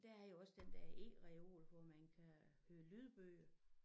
Der er jo også den der eReol hvor man kan høre lydbøger